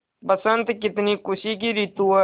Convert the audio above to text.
बसंत कितनी खुशी की रितु है